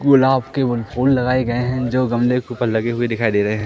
गुलाब के फूल लगाए गए हैं जो गमले के ऊपर लगे हुए दिखाई दे रहे हैं।